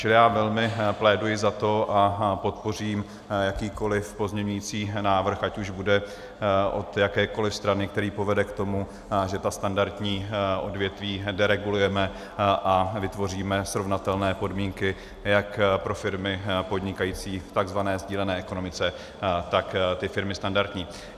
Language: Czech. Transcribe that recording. Čili já velmi pléduji za to a podpořím jakýkoliv pozměňující návrh, ať už bude od jakékoli strany, který povede k tomu, že ta standardní odvětví deregulujeme a vytvoříme srovnatelné podmínky jak pro firmy podnikající v tzv. sdílené ekonomice, tak ty firmy standardní.